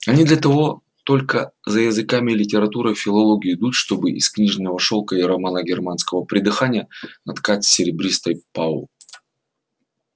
они для того только за языками и литературой в филологию идут чтобы из книжного шелка и романо-германского придыхания наткать серебристой пау